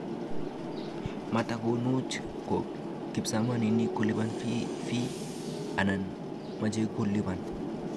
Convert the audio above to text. Matakunot ko kipsomanink kolipani fee anan machekolupan